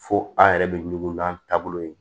Fo an yɛrɛ bɛ ɲugun n'an taabolo ye